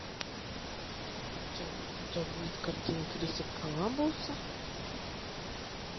у тебя будет картина криса коламбуса